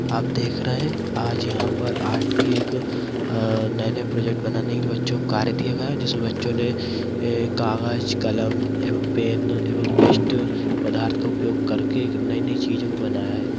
आप देख रहे हैं आज यहां पर आर्ट की एक नई नई प्रोजेक्ट बनाने के लिए बच्चों को कार्य दिया गया जिसमे बच्चों ने कागज कलम एवं पेन एवं वेस्ट पदार्थ का उपयोग करके नई-नई चीजों को बनाया है।